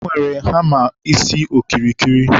e nwere hama isi okirikiri.